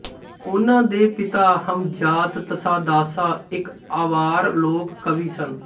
ਉਨ੍ਹਾਂ ਦੇ ਪਿਤਾ ਹਮਜ਼ਾਤ ਤਸਾਦਾਸਾ ਇੱਕ ਅਵਾਰ ਲੋਕ ਕਵੀ ਸਨ